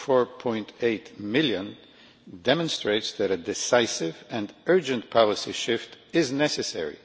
4.8 million demonstrates that a decisive and urgent policy shift is necessary.